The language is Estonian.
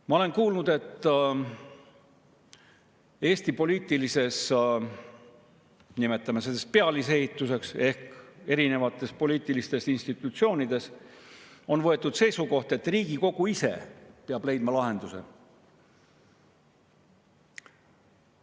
Ma olen kuulnud, et Eesti poliitilises – nimetame seda nii – pealisehituses ehk erinevates poliitilistes institutsioonides on võetud seisukoht, et Riigikogu ise peab leidma lahenduse.